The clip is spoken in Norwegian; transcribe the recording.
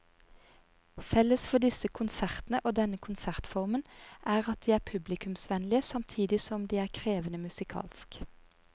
Felles for disse konsertene og denne konsertformen er at de er publikumsvennlige samtidig som de er krevende musikalsk.